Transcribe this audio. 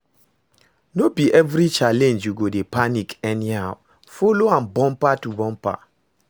No bi evri challenge yu go dey panic anyhow, follow am bumper to bumper